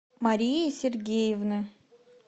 марии сергеевны